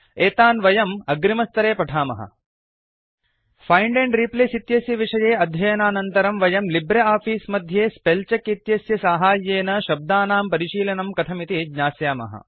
एतान् वयम् अग्रिमस्तरे पठामः फाइण्ड एण्ड रिप्लेस इत्यस्य विषये अध्ययनानन्तरं वयं लिब्रे आफीस् मध्ये स्पेलचेक इत्यस्य साहाय्येन शब्दानां परिशीलनं कथमिति ज्ञास्यामः